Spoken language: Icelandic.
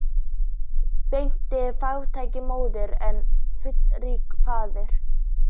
Betri er fátæk móðir en fullríkur faðir.